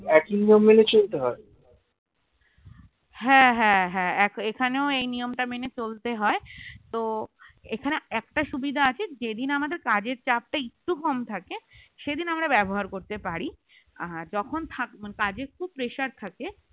হ্যাঁ হ্যাঁ হ্যাঁ এখানেও এই নিয়মটা মেনে চলতে হয় তো এখানে একটা সুবিধা আছে যেদিন আমাদের কাজের চাপটা একটু কম থাকে সেদিন আমরা ব্যবহার করতে পারি আর যখন থাক কাজের খুব pressure থাকে